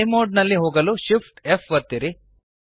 fly mode ನಲ್ಲಿ ಹೋಗಲು Shift F ಒತ್ತಿರಿ